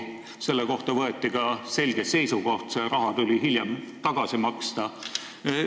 Selle kohta võeti ka selge seisukoht ja see raha tuli hiljem tagasi maksta.